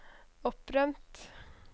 opprømt